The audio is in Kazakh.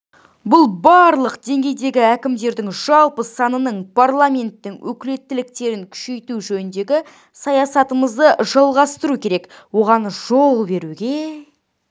бұл барлық деңгейдегі әкімдердің жалпы санының парламенттің өкілеттіктерін күшейту жөніндегі саясатымызды жалғастыру керек оған жол беруге